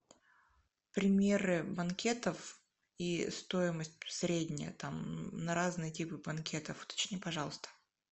примеры банкетов и стоимость средняя там на разные типы банкетов уточни пожалуйста